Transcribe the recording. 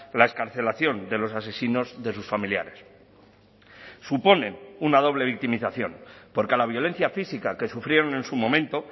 la excarcelación de los asesinos de sus familiares suponen una doble victimización porque a la violencia física que sufrieron en su momento